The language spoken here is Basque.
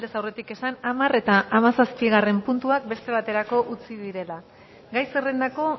aurretik esan hamar eta hamazazpigarrena puntuak beste baterako utzi direla gai zerrendako